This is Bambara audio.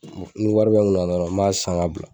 Ni wari bɛ n kunna dɔrɔn n m'a san ka bila.